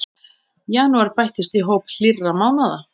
Janúar bættist í hóp hlýrra mánaða